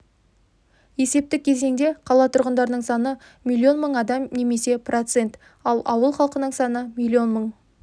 есептік кезеңде қала тұрғындарының саны миллион мың адам немесе процент ал ауыл халқының саны миллион мың